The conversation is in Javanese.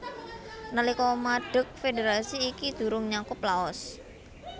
Nalika madeg federasi iki durung nyakup Laos